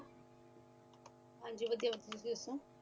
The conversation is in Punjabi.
ਹਾਂਜੀ ਵਦਿਹਾ ਤੁਸੀ ਦਸੋ